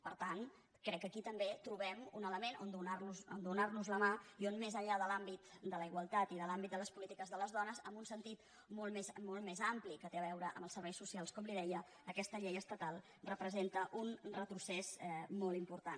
per tant crec que aquí també trobem un element on donar nos la mà i on més enllà de l’àmbit de la igualtat i de l’àmbit de les polítiques de les dones amb un sentit molt més ampli que té a veure amb els serveis socials com li deia aquesta llei estatal representa un retrocés molt important